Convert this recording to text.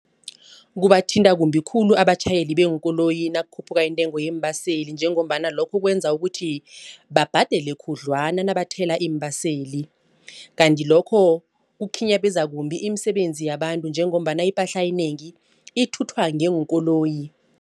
Kubathinta kumbi khulu abatjhayeli beenkoloyi nakukhuphuka iintengo yeembaseli njengombana lokho kwenza ukuthi babhadele khudlwana nabathola iimbaseli. Kanti lokho kukhinyabeza kumbi imisebenzi yabantu njengombana ipahla enengi ithuthwa ngeenkoloyi.